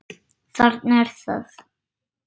Þarna er það!